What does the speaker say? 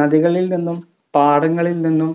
നദികളിൽ നിന്നും പാടങ്ങളിൽ നിന്നും